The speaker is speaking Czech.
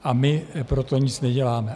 A my pro to nic neděláme.